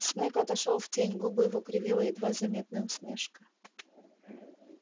снегг отошёл в тень губы его кривила едва заметная усмешка